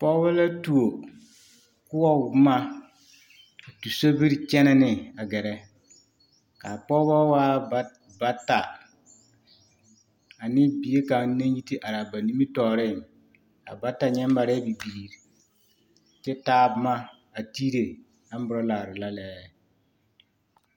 Pɔgbɔ la tuo koɔ boma a tu sobiri kɛnɛ ne a gɛrɛ kaa pɔgbɔ waa bata ane bie kaŋ naŋ yi te araa a ba nimitɔɔreŋ a bata nyɛ marɛɛ bibiiri kyɛ taa boma a tiire aburalare la lɛɛ.